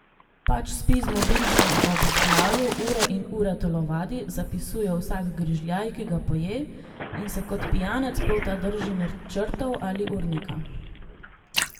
Pač spi z mobilcem ob vzglavju, ure in ure telovadi, zapisuje vsak grižljaj, ki ga poje, in se kot pijanec plota drži načrtov ali urnika.